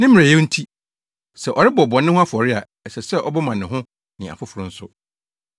Ne mmerɛwyɛ nti, sɛ ɔrebɔ bɔne ho afɔre a, ɛsɛ sɛ ɔbɔ ma ne ho ne afoforo nso.